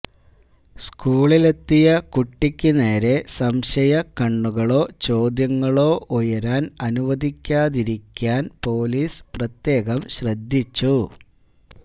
സ്കൂളിലെത്തിയ കുട്ടിക്ക് നേരെ സംശയ കണ്ണുകളോ ചോദ്യങ്ങളോ ഉയരാൻ അനുവദിക്കാതിരിക്കാൻ പൊലീസ് പ്രത്യേകം ശ്രദ്ധിച്ചു